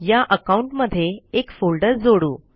या अकाउंट मध्ये एक फोल्डर जोडू